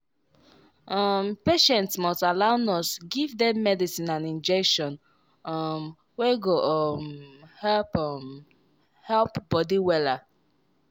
um patients must allow nurse give dem medicine and injection um wey go um help um help body wella.